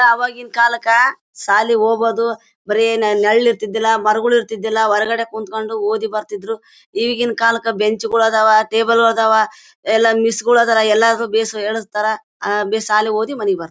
ಅವಾಗಿನ ಕಾಲಕ್ಕ ಸಾಲೀಗ್ ಹೋಗೋದು. ಬರೇ ನೆರಳು ಇರ್ತಿದ್ದಿಲ್ಲಾ ಮರಗಳು ಇರ್ತ್ತೀದ್ದಿಲ್ಲಾ ಹೊರಗಡೆ ಕುತ್ಕೊಂಡು ಓದಿ ಬರ್ತಿದ್ರು. ಈಗಿನ್ ಕಾಲಕ್ಕ ಬೆಂಚ್ ಗಳು ಅದಾವಾ ಟೇಬಲು ಅದಾವ ಎಲ್ಲಾ ಮಿಸ್ ಗಳು ಅದರ ಎಲ್ಲಾರು ಹೇಳಸ್ತಾರ ಅಹ್ ಬಿ ಸಾಲೀಗ್ ಓದಿ ಮನೆಗ್ ಬರ್ತರೆ.